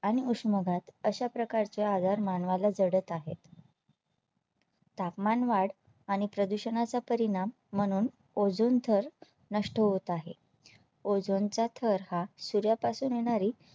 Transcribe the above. आणि उष्माघात अशा प्रकारचे आजार मानवा ला जडत आहेत तापमानवाढ आणि प्रदूषणाचा परिणाम म्हणून Ozone थर नष्ट होत आहे. Ozone चा थर हा सूर्या पासून येणारी